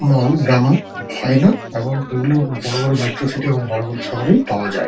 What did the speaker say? তাই না এবং এগুলো বড়ো বড়ো মেট্রো সিটি এবং বড়ো বড়ো শহরেই পাওয়া যায়।